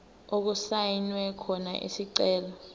okusayinwe khona isicelo